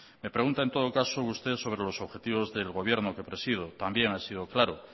me pregunta en todo caso sobre los objetivos del gobierno que presido también he sido claro